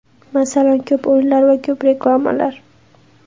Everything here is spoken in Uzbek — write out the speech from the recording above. Masalan, ko‘p o‘yinlar va ko‘p reklamalar.